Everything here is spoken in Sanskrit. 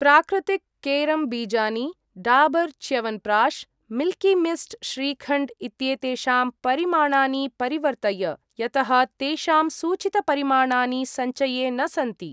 प्राकृतिक् केरम् बीजानि , डाबर् च्यवनप्राश्, मिल्कि मिस्ट् श्रीखण्ड् इत्येतेषां परिमाणानि परिवर्तय, यतः तेषां सूचितपरिमाणानि सञ्चये न सन्ति।